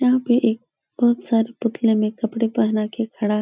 यहाँ पे एक बोहोत सारे पुतले मे कपड़े पहना के खड़ा --